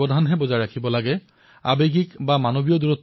এওঁলোক অপৰাধী নহয় এওঁলোক ভাইৰাছৰ দ্বাৰাহে আক্ৰান্ত